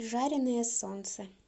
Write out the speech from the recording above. жареное солнце